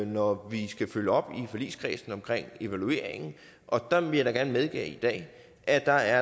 når vi skal følge op i forligskredsen om evalueringen og der vil jeg da gerne medgive i dag at der